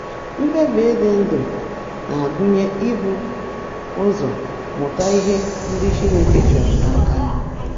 Ikpebi ịdị ndụ na-agụnye ibu ụzọ mụta ihe ndị Chineke chọrọ n’aka anyị.